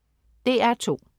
DR2: